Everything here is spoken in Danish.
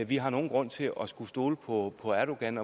vi har nogen grund til at skulle stole på på erdogan